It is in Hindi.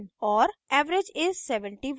average is: 71